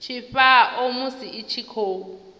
tshifhao musi i tshi khou